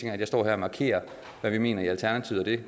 er at jeg står her og markerer hvad vi mener i alternativet og det